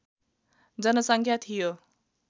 जनसङ्ख्या थियो